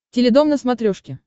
теледом на смотрешке